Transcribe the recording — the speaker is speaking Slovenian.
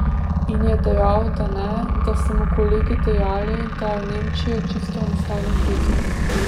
In je dejal, da ne, da so mu kolegi dejali, da je v Nemčijo čisto enostavno priti.